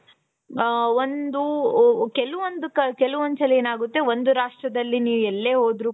ಹ ಹ ಒಂದು ಕೆಲವೊಂದು ಕೆಲವೊಂದು ಸಲ ಏನಾಗುತ್ತೆ ಒಂದು ರಾಷ್ಟ್ರದಲ್ಲಿ ನೀವು ಎಲ್ಲೇ ಹೋದರೂ.